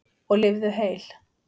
Og lifðu heil!